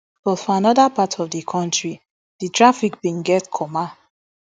but for anoda part of di kontri di traffic bin get comma